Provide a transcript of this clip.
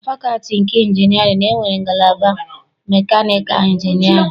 Na fakọlti nke injinịarịn, e nwere ngalaba mekanịkal injinịarịn.